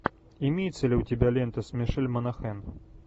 имеется ли у тебя лента с мишель монахэн